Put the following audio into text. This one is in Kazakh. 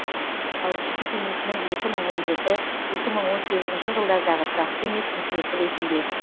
қауіпсіздік кеңесінің екі мың он жеті екі мың он сегізінші жылдардағы тұрақты емес мүшесі ретінде